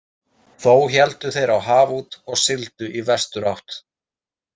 Þó héldu þeir á haf út og sigldu í vesturátt.